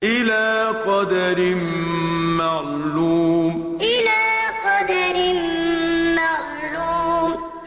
إِلَىٰ قَدَرٍ مَّعْلُومٍ إِلَىٰ قَدَرٍ مَّعْلُومٍ